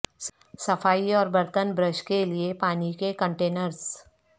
صفائی اور برتن برش کے لئے پانی کے کنٹینرز